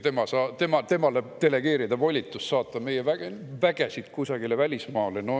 Ja temale delegeerida volitus saata meie vägesid kusagile välismaale?